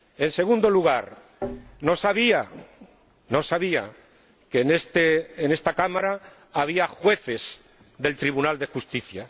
En segundo lugar, no sabía, no sabía, que en esta Cámara había jueces del Tribunal de Justicia.